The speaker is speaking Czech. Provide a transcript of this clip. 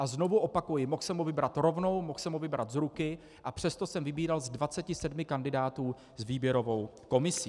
A znovu opakuji, mohl jsem ho vybrat rovnou, mohl jsem ho vybrat z ruky, a přesto jsem vybíral z 27 kandidátů s výběrovou komisí.